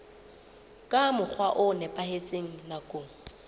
ka mokgwa o nepahetseng nakong